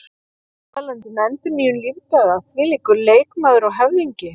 Talandi um endurnýjun lífdaga, þvílíkur leikmaður og höfðingi!